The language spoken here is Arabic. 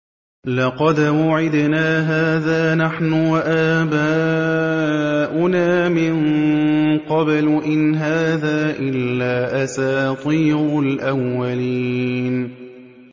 لَقَدْ وُعِدْنَا هَٰذَا نَحْنُ وَآبَاؤُنَا مِن قَبْلُ إِنْ هَٰذَا إِلَّا أَسَاطِيرُ الْأَوَّلِينَ